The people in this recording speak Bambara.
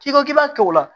K'i ko k'i b'a kɛ o la